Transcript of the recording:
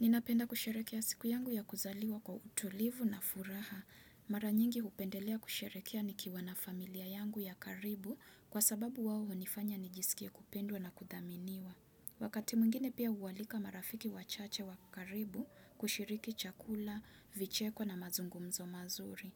Ninapenda kusherekea siku yangu ya kuzaliwa kwa utulivu na furaha. Mara nyingi hupendelea kusherekea nikiwa na familia yangu ya karibu kwa sababu wawo hunifanya nijisikie kupendwa na kudhaminiwa. Wakati mwingine pia huwalika marafiki wachache wa karibu kushiriki chakula, vicheko na mazungumzo mazuri.